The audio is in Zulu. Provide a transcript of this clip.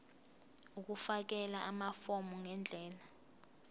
ukufakela amafomu ngendlela